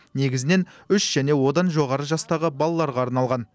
негізінен үш және одан жоғары жастағы балаларға арналған